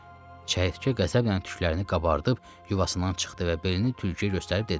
Çəyirtkə qəzəblə tüklərini qabardıb, yuvasından çıxdı və belini tülküyə göstərib dedi: